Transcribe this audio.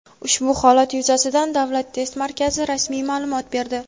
Ushbu holat yuzasidan Davlat test markazi rasmiy ma’lumot berdi.